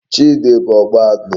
Chidi bu Ogba anu